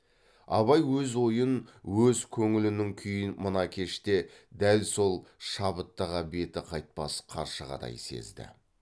абай өз ойын өз көңілінің күйін мына кеште дәл сол шабыттағы беті қайтпас қаршығадай сезді